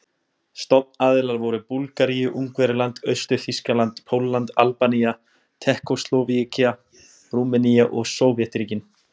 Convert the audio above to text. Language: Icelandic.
Stofnaðilar voru Búlgaría, Ungverjaland, Austur-Þýskaland, Pólland, Albanía, Tékkóslóvakía, Rúmenía og Sovétríkin.